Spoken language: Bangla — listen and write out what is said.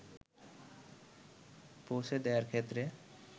পৌঁছে দেয়ার ক্ষেত্রে